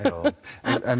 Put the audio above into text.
en